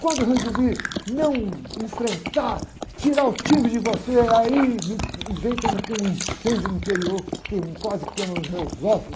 Quando eu resolvi não enfrentar, tirar o time de você, aí me, e vem como que um incêndio no interior, que queima, quase queima os meus ossos.